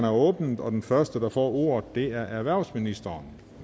åbnet og den første der får ordet er erhvervsministeren